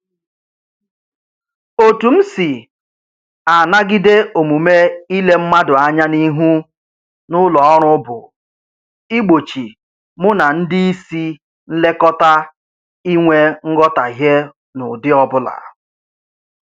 Otu m si anagide omume ile mmadụ anya n'ihu n'ụlọ ọrụ bụ igbochi mụ na ndị isi nlekọta inwe nghọtahie n'ụdị ọbụla